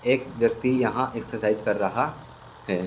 एक व्यक्ति यहाॅं एक्सरसाइज कर रहा है।